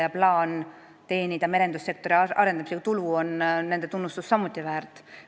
Samuti on nende tunnustust väärinud plaan teenida merendussektori arendamisega tulu.